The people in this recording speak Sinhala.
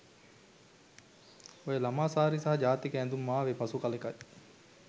ඔය ළමා සාරි සහ ජාතික ඇඳුම් ආවේ පසු කළෙකයි.